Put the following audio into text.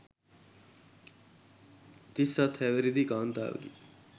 තිස්හත් හැවිරිදි කාත්තාවකි